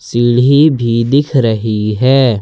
सीढ़ी भी दिख रही है।